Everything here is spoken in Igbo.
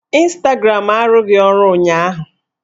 Ịnstagram arụghị ọrụ ụnyaahụ